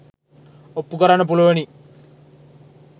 ඔප්පු කරන්න පුළුවනි.